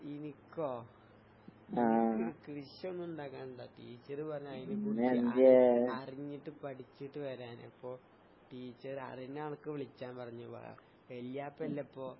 ഇനിക്കോ? എനിക്ക് കൃഷിയൊന്നും ഇണ്ടാക്കാനല്ല. ടീച്ചറ് പറഞ്ഞ് അതിനെക്കുറിച്ച് അറി അറിഞ്ഞിട്ട് പഠിച്ചിട്ട് വരാന്. അപ്പൊ ടീച്ചർ അറിഞ്ഞ ആൾക്ക് വിളിച്ചാൻ പറഞ്ഞു. വാ വല്യാപ്പല്ലേപ്പോ